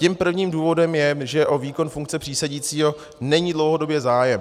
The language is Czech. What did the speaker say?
Tím prvním důvodem je, že o výkon funkce přísedícího není dlouhodobě zájem.